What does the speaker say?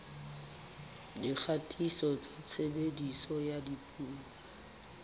dikgatiso tsa tshebediso ya dipuo